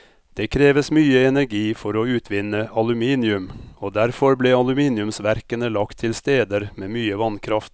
Det kreves mye energi for å utvinne aluminium, og derfor ble aluminiumsverkene lagt til steder med mye vannkraft.